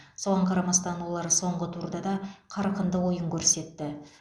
соған қарамастан олар соңғы турда да қарқынды ойын көрсетті